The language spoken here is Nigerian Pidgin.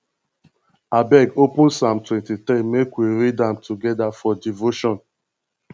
abeg open psalm 23 make we read am together for devotion